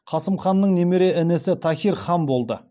қасым ханның немере інісі таһир хан болды